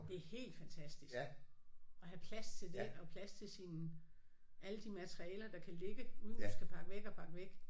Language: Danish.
Det er helt fantastisk at have plads til det og plads til sine alle de materialer der kan ligge uden du skal pakke væk og pakke væk